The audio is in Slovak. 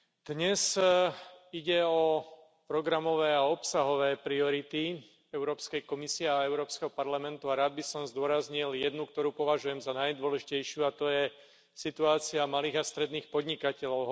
Dnes ide o programové a obsahové priority Európskej komisie a Európskeho parlamentu a rád by som zdôraznil jednu, ktorú považujem za najdôležitejšiu, a to je situácia malých a stredných podnikateľov.